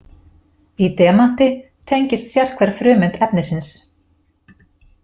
Í demanti tengist sérhver frumeind efnisins.